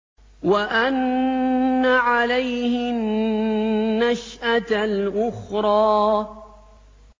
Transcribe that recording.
وَأَنَّ عَلَيْهِ النَّشْأَةَ الْأُخْرَىٰ